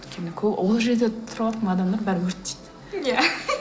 өйткені ол жерде тұрыватқан адамдар бәрі өртейді иә